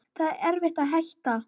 Það var erfitt að hætta.